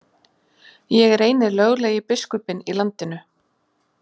Ég er eini löglegi biskupinn í landinu!